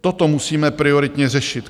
Toto musíme prioritně řešit.